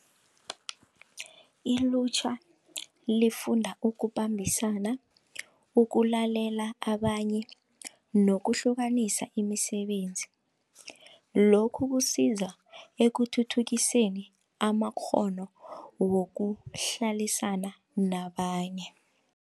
Ilutjha lifunda ukubambisana ukulalela abanye nokuhlukanisa imisebenzi lokhu kusiza ekuthuthukiseni amakghono wokuhlalisana nabanye.